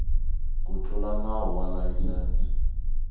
ku tlula nawu wa layisense